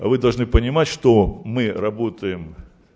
вы должны понимать что мы работаем